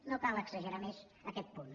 no cal exagerar més aquest punt